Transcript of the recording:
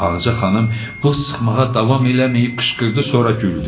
Ağaca xanım bu sıxmağa davam eləməyib qışqırdı, sonra güldü.